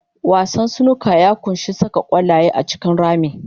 Wasan snooker ya ƙunshi saka ƙwallaye a cikin rami.